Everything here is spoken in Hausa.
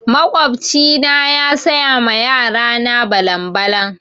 Makwabci na ya saya ma yara na balan-balan.